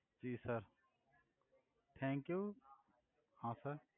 જિ sir thank you આભાર sir